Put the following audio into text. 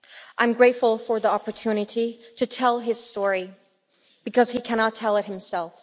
I am grateful for the opportunity to tell his story, because he cannot tell it himself.